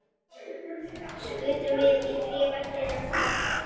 Skutum við í tréverkið eins og alltaf?